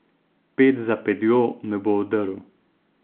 Ped za pedjo me bo odrl.